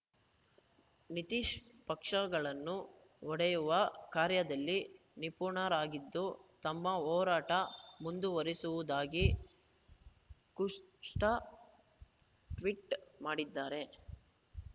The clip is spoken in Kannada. ನಿತೀಶ್‌ ಪಕ್ಷಗಳನ್ನು ಒಡೆಯುವ ಕಾರ್ಯದಲ್ಲಿ ನಿಪುಣರಾಗಿದ್ದು ತಮ್ಮ ಹೋರಾಟ ಮುಂದುವರಿಸುವುದಾಗಿ ಖುಷ್ವಾ ಟ್ವೀಟ್‌ ಮಾಡಿದ್ದಾರೆ